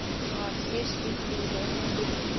а все шрифты должны быть